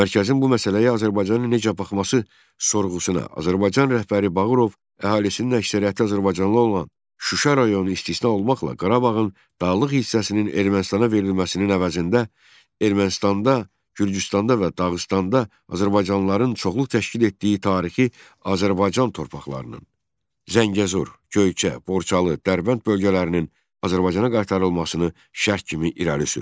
Mərkəzin bu məsələyə Azərbaycanın necə baxması sorğusuna Azərbaycan rəhbəri Bağırov əhalisinin əksəriyyəti azərbaycanlı olan Şuşa rayonu istisna olmaqla Qarabağın dağlıq hissəsinin Ermənistana verilməsinin əvəzində Ermənistanda, Gürcüstanda və Dağıstanda azərbaycanlıların çoxluq təşkil etdiyi tarixi Azərbaycan torpaqlarının Zəngəzur, Göyçə, Borçalı, Dərbənd bölgələrinin Azərbaycana qaytarılmasını şərt kimi irəli sürdü.